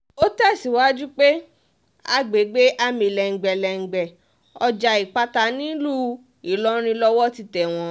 ó tẹ̀síwájú pé àgbègbè amìlẹ̀ǹgbẹ̀lẹ̀ǹgbẹ̀ ọjà ìpáta nílùú ìlọrin lowó ti tẹ̀ wọ́n